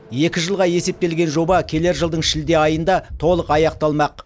екі жылға есептелген жоба келер жылдың шілде айында толық аяқталмақ